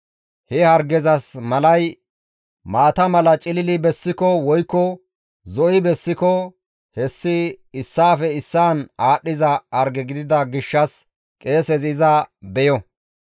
he hargezas malay maata mala cilili bessiko woykko zo7i bessiko hessi issaafe issaan aadhdhiza harge gidida gishshas qeesezi iza beyo.